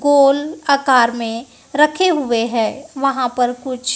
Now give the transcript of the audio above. गोल आकार में रखे हुए है वहां पर कुछ--